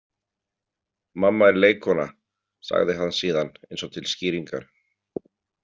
Mamma er leikkona, sagði hann síðan eins og til skýringar.